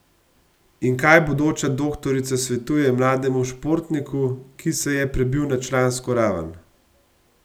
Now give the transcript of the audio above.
In kaj bodoča doktorica svetuje mlademu športniku, ki se je prebil na člansko raven?